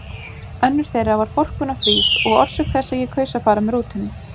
Önnur þeirra var forkunnarfríð og orsök þess að ég kaus að fara með rútunni.